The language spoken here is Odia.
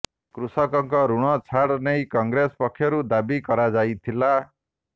କୃଷକଙ୍କ ଋଣ ଛାଡ ନେଇ କଂଗ୍ରେସ ପକ୍ଷରୁ ଦାବି କରାଯାଇଥିଲା